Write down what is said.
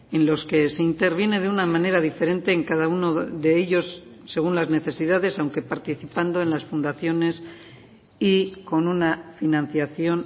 en los que se interviene de una manera diferente en cada uno de ellos según las necesidades aunque participando en las fundaciones y con una financiación